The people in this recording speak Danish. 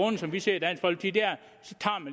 er som vi ser det